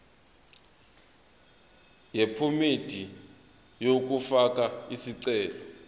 yephomedi yokufaka isicelo